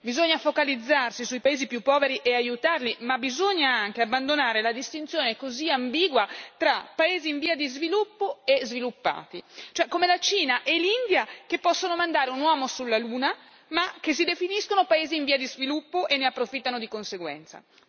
Bisogna focalizzarsi sui paesi più poveri e aiutarli, ma bisogna anche abbandonare la distinzione così ambigua tra paesi in via di sviluppo e sviluppati come la Cina e l'India, ad esempio, che possono mandare un uomo sulla Luna, ma che si definiscono paesi in via di sviluppo e ne approfittano di conseguenza.